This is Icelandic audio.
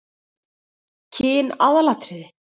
Kyn aðalatriði?